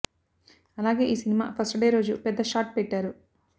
అలాగే ఈ cinema first day రోజు పెద్ద షాట్ పెట్టారు